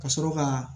Ka sɔrɔ ka